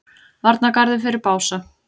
Varnargarður fyrir Bása